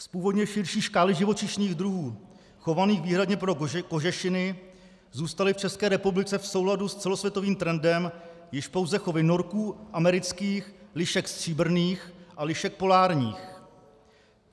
Z původně širší škály živočišných druhů chovaných výhradně pro kožešiny zůstaly v České republice v souladu s celosvětovým trendem již pouze chovy norků amerických, lišek stříbrných a lišek polárních.